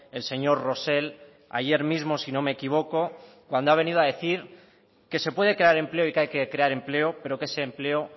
el señor rosell ayer mismo si no me equivoco cuando ha venido a decir que se puede crear empleo y que hay que crear empleo pero que ese empleo